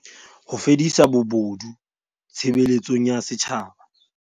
Ho fedisa bobodu tshebeletsong ya setjhaba